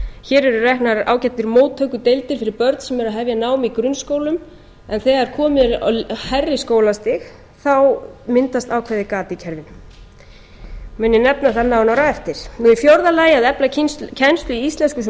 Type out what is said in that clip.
hér eru reknar ágætar móttökudeildir fyrir börn sem eru að hefja nám í grunnskólum en þegar komið er á hærri skólastig myndast ákveðið gap í kerfinu mun ég nefna það nánar á eftir fjórðu að efla kennslu í íslensku sem